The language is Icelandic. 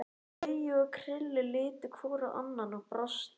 Laugi og Krilli litu hvor á annan og brostu.